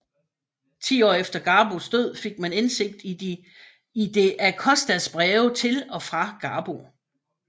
Ti år efter Garbos død fik man indsigt i de Acostas breve til og fra Garbo